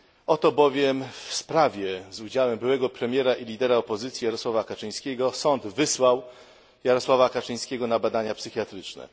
Oto bowiem w sprawie z udziałem byłego premiera i lidera opozycji Jarosława Kaczyńskiego sąd wysłał Jarosława Kaczyńskiego na badania psychiatryczne.